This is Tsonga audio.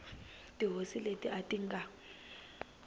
tihosi leti a ti nga